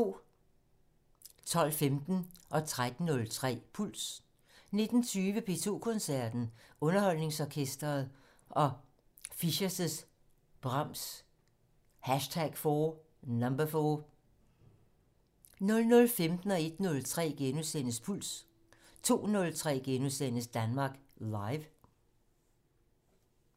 12:15: Puls 13:03: Puls 19:20: P2 Koncerten - Underholdningsorkestret og Fischers' Brahms #4 00:15: Puls * 01:03: Puls * 02:03: Danmark Live *